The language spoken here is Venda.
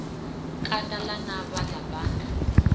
kanda ḽa navha na banda